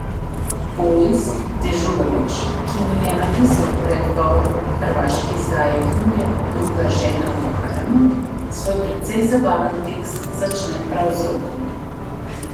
Boris Dežulović, ki mi je napisal predgovor k hrvaški izdaji knjige Druga žena v haremu, svoj precej zabaven tekst začne prav z Rokom.